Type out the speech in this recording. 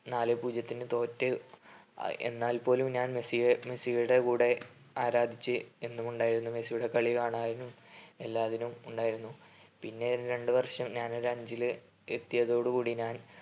നാലേ പൂജ്യത്തിന് തോറ്റ്. എന്നാൽ പോലും ഞാൻ മെസ്സിയെ മെസ്സിയുടെ കൂടെ ആരാധിച്ച് എന്നുമുണ്ടായിരുന്നു മെസ്സിയുടെ കളി കാണാനും എല്ലാത്തിനും ഉണ്ടായിരുന്നു. പിന്നെയും രണ്ട് വർഷം ഞാനൊരു അഞ്ചില് എത്തിയതോട് കൂടി ഞാൻ